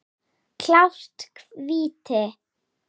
Klárt víti!